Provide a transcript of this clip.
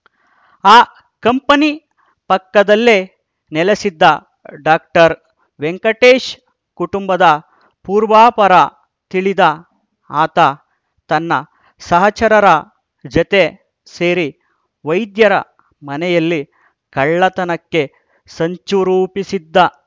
ಆ ಕಂಪನಿ ಪಕ್ಕದಲ್ಲೇ ನೆಲೆಸಿದ್ದ ಡಾಕ್ಟರ್ ವೆಂಕಟೇಶ್‌ ಕುಟುಂಬದ ಪೂರ್ವಾಪರ ತಿಳಿದ ಆತ ತನ್ನ ಸಹಚರರ ಜತೆ ಸೇರಿ ವೈದ್ಯರ ಮನೆಯಲ್ಲಿ ಕಳ್ಳತನಕ್ಕೆ ಸಂಚು ರೂಪಿಸಿದ್ದ